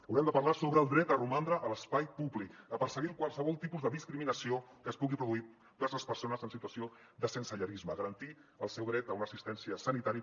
haurem de parlar sobre el dret a romandre a l’espai públic sobre perseguir qualsevol tipus de discriminació que es pugui produir vers les persones en situació de sensellarisme de garantir el seu dret a una assistència sanitària